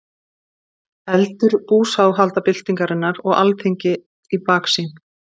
Eldur búsáhaldabyltingarinnar og Alþingi í baksýn.